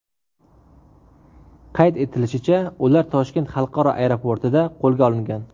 Qayd etilishicha, ular Toshkent xalqaro aeroportida qo‘lga olingan.